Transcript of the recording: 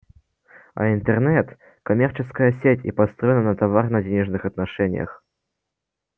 а интернет коммерческая сеть и построена на товарно-денежных отношениях